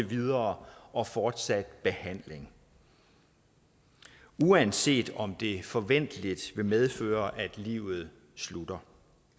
videre og fortsat behandling uanset om det forventeligt vil medføre at livet slutter